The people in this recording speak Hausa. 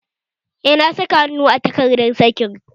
Eh, na saka hannu a takardun sakin